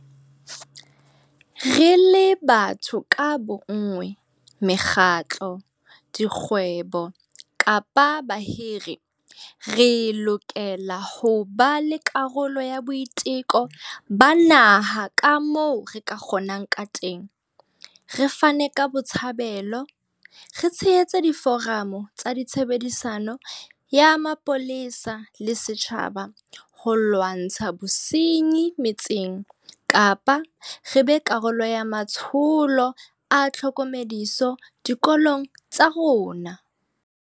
Re le batho ka bonngwe, mekgatlo, dikgwebo kapa bahiri, re lokela ho ba karolo ya boiteko ba naha ka hohle kamoo re ka kgonang kateng, re fane ka botshabelo, re tshehetse diforamo tsa tshebedisano ya mapolesa le setjhaba ho lwantsha bosenyi metseng kapa re be karolo ya matsholo a tlhokomediso dikolong tsa rona.